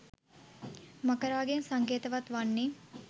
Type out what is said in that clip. මකරාගෙන් සංකේතවත් වන්නේ